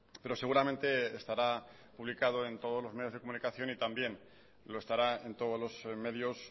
pero seguramente estará publicado en todos los medios de comunicación y también lo estará en todos los medios